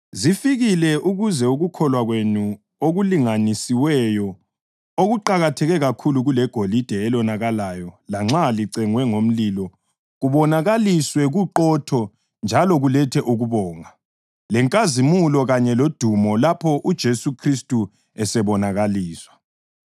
Zifikile ukuze ukukholwa kwenu okulinganisiweyo, okuqakatheke kakhulu kulegolide, elonakalayo lanxa licengwe ngomlilo kubonakaliswe kuqotho njalo kulethe ukubonga, lenkazimulo kanye lodumo lapho uJesu Khristu esebonakaliswa.